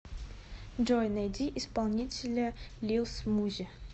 джой найди исполнителя лил смузи